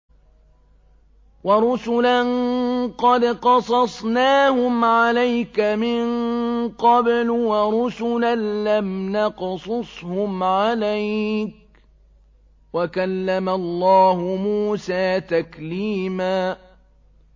وَرُسُلًا قَدْ قَصَصْنَاهُمْ عَلَيْكَ مِن قَبْلُ وَرُسُلًا لَّمْ نَقْصُصْهُمْ عَلَيْكَ ۚ وَكَلَّمَ اللَّهُ مُوسَىٰ تَكْلِيمًا